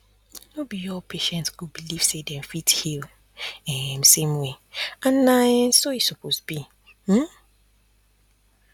no be all patient go believe say dem fit heal um same way and na um so e suppose be um